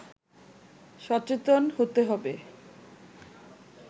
সচেতন হতে হবে